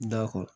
Da kɔ